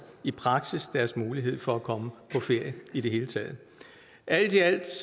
i praksis deres mulighed for at komme på ferie i det hele taget alt i alt